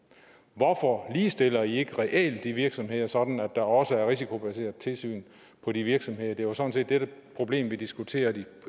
hvorfor ligestiller i ikke reelt de virksomheder sådan at der også er risikobaserede tilsyn på de virksomheder det var sådan set det problem vi diskuterede